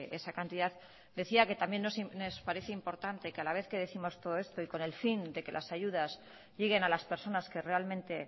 esa cantidad decía que también nos parece importante que a la vez que décimos todo esto y con el fin de que las ayudas lleguen a las personas que realmente